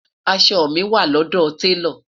aṣọ mi wà lọdọ talo